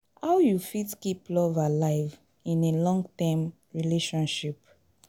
How you fit keep love alive in a long-term relationship?